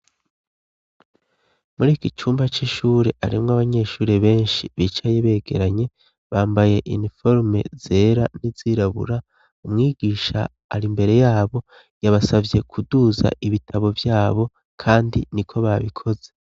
Muri iki cumba c'ishuri harimwo abanyeshuri benshi bicaye begeranye bambaye iniforume zera n'izirabura umwigisha ari mbere yabo yabasavye kuduza ibitabo vyabo kandi ni ko babikoze.